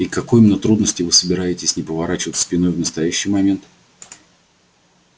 и к какой именно трудности вы собираетесь не поворачиваться спиной в настоящий момент